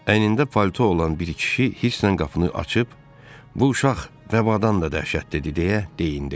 Əynində palto olan bir kişi hisslə qapını açıb, bu uşaq vəbadan da dəhşətlidir deyə deyinirdi.